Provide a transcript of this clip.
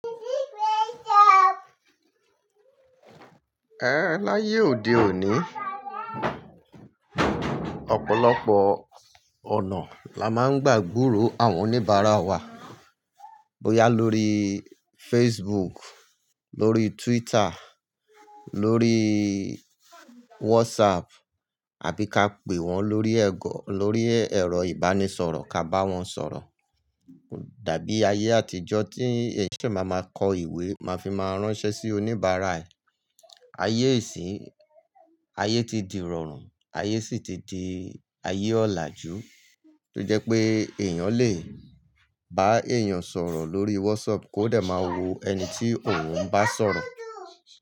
Ẹ̀hn ehn, láyé òde òní, ọ̀pọ̀lọpọ̀ ọ̀nà la máa ń gbà gúró àwọn oníbàárà wa, bóyá lórí Facebook, lórí Twitter, lórí WhatsApp, àbí ká pè wọ́n lórí ẹ̀gọ́, lórí ẹ̀rọ ìbánisọ̀rọ̀ ká bá wọn sọ̀rọ̀. Ko dabi aye ati ijo ti eyan sheshe maa maa ko iwe, maa fi maa ranse si onibaara. Ayé íṣìn-- ayé ti di ìrọ̀rùn, ayé sì ti di ayé ọ̀laàjú tó jẹ́ pé èèyàn lè bá èèyàn sọ̀rọ̀ lórí WhatsApp kó dẹ̀ máa wo ẹni tí òun bá sọ̀rọ̀.